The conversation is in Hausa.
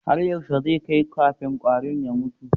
Har yaushe zai kai kafin kwarin ya mutu?